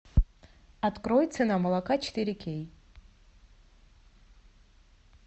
открой цена молока четыре кей